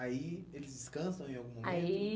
Aí eles descansam em algum momento? Aí